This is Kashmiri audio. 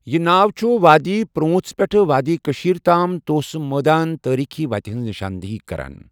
یہِ ناو چھُ وادی پر٘وُنژھ پٮ۪ٹھہٕ وادی کٔشٖیرِ تام توسہٕ مٲدانٕ تٲریٖخی وتہِ ہِنٛز نِشاندِہی کران۔